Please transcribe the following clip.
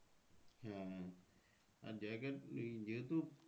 হ্যাঁ আর জায়গায় এই যেহেতু